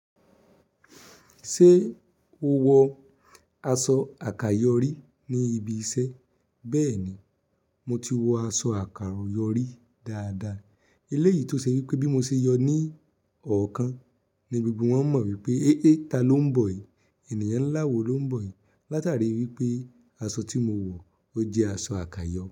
Ṣé o wọ aṣọ àkàyọrí ní ibi iṣẹ́? Bẹ́ẹ̀ni, mo ti wọ aṣọ àkàròyọ́rí dáadáa. Eléyìí tó ṣe wípé bí mo ṣe yọ ní ọ̀ọ́kan ní gbogbo wọn mọ̀ wípé, héhé ta ló ń bọ̀ yìí? Ènìyàn ńlá wo ló ń bọ̀ yìí? Látàrí wípé asọ tí mowọ̀ ó jẹ́ aṣọ àkàyọ.